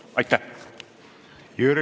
Aitäh!